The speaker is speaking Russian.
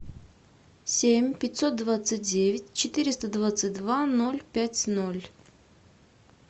семь пятьсот двадцать девять четыреста двадцать два ноль пять ноль